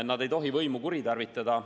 Nad ei tohi oma võimu kuritarvitada.